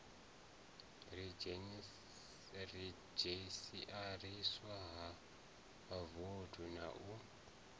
redzhisiariswa ha vhavothi na u